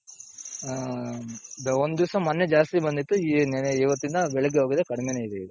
ಹ್ಮ್ ಒಂದ್ ದಿಸ ಮೊನ್ನೆ ಜಾಸ್ತಿ ಬಂದಿತ್ತು ನೆನ್ನೆ ಇವತ್ತಿಂದ ಬೆಳಗ್ಗೆ ಹೋಗಿದ್ದೆ ಕಡ್ಮೆ ನೆ ಇದೆ ಇವತ್ತು.